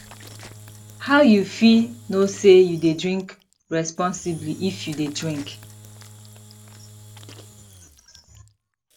how you fit know say you dey drink responsibly if you dey drink